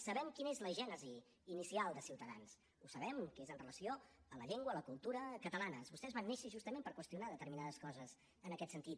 sabem quina és la gènesi inicial de ciutadans ho sabem que és amb relació a la llengua a la cultura catalanes vostès van néixer justament per qüestionar determinades coses en aquest sentit